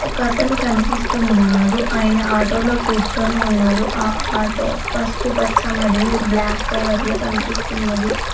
ఒకతను కనిపిస్తున్నాడు ఆయన ఆటోలో కూర్చొని ఉన్నాడు ఆ ఆటో పసుపుపచ్చ మరియు బ్లాక్ కలర్ లో కనిపిస్తున్నది.